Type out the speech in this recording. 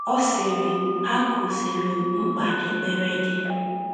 Ọ sịrị: “ Ha kụziiri m mkpa ekpere dị.